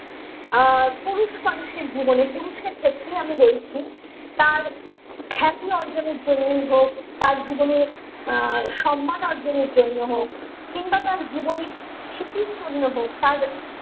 আহ পুরুষ মানুষের জীবনে পুরুষের ক্ষেত্রে আমি বলছি তার খ্যাতি অর্জনের জন্যই হোক তার জীবনের আহ সম্মান অর্জনের জন্যই হোক কিংবা তার জীবনের স্ফীতির জন্য হোক তার